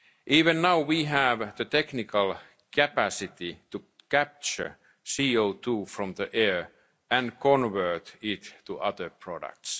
technology must be adapted. Even now, we have the technical capacity to capture CO2 from the air and convert